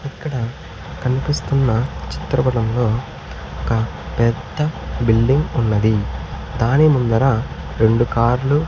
ఇక్కడ కనిపిస్తున్న చిత్ర పటములో ఒక పెద్ద బిల్డింగ్ ఉన్నది దాని ముందర రెండు కార్లు .